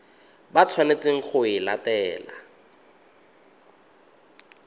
ba tshwanetseng go e latela